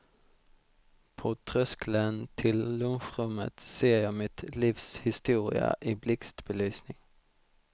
På tröskeln till lunchrummet ser jag mitt livs historia i blixtbelysning.